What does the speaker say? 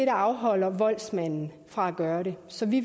afholder voldsmanden fra at gøre det så vi